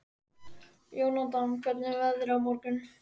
Jónatan, hvernig er veðrið á morgun?